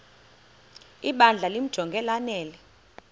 ibandla limjonge lanele